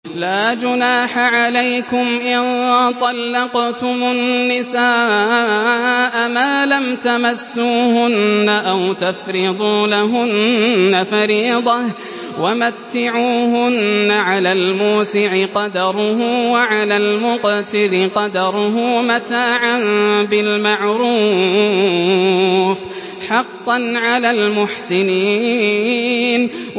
لَّا جُنَاحَ عَلَيْكُمْ إِن طَلَّقْتُمُ النِّسَاءَ مَا لَمْ تَمَسُّوهُنَّ أَوْ تَفْرِضُوا لَهُنَّ فَرِيضَةً ۚ وَمَتِّعُوهُنَّ عَلَى الْمُوسِعِ قَدَرُهُ وَعَلَى الْمُقْتِرِ قَدَرُهُ مَتَاعًا بِالْمَعْرُوفِ ۖ حَقًّا عَلَى الْمُحْسِنِينَ